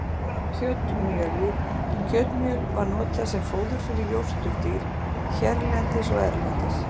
Um notkun á kjötmjöli Kjötmjöl var notað sem fóður fyrir jórturdýr hérlendis og erlendis.